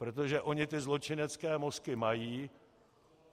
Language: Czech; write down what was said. Protože oni ty zločinecké mozky mají.